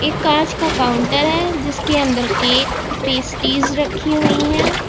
कांच का काउंटर है जिसके अंदर केक पेस्टीज रखी हुई हैं।